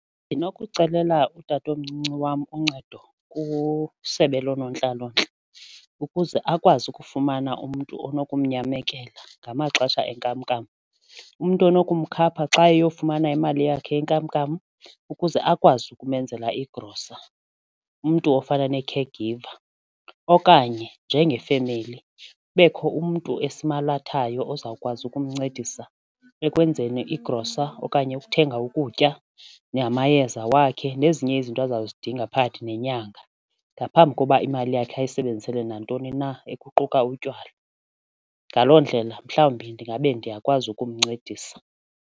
Ndinokucelela utatomncinci wam uncedo kusebe loonontlalontle ukuze akwazi ukufumana umntu onokumnyamekela ngamaxesha enkamnkam, umntu onokumkhapha xa eyokufumana imali yakhe yenkamnkam ukuze akwazi ukumenzela igrosa, umntu ofuna ne-caregiver. Okanye njengefemeli kubekho umntu esimalathayo ozawukwazi ukumncedisa ekwenzeni igrosa okanye ukuthenga ukutya namayeza wakhe nezinye izinto aza kuzidinga phakathi nenyanga ngaphambi koba imali yakhe ayisebenzisele nantoni na ekuquka utywala. Ngaloo ndlela mhlawumbi ndingabe ndiyakwazi ukumncedisa.